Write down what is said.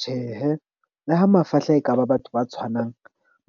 Tjhehe le ha mafahla, ekaba batho ba tshwanang